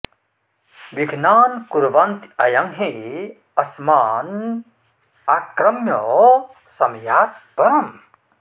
विघ्नान् कुर्वन्ति अयं हि अस्मान् आक्रम्य समियात् परम्